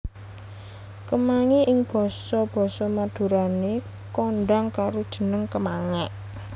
Kemangi ing basa basa Madurané kondhang karo jeneng kemangék